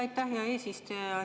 Aitäh, hea eesistuja!